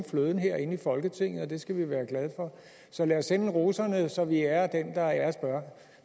fløden herinde i folketinget og det skal vi være glade for så lad os sende roserne videre så vi ærer den der æres bør